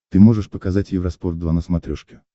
ты можешь показать евроспорт два на смотрешке